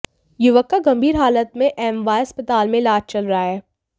युवक का गंभीर हालत में एमवाय अस्पताल में इलाज चल रहा है